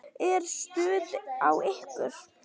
Er stuð á ykkur?